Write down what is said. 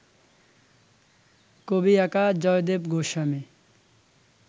কবি একা জয়দেব গোস্বামী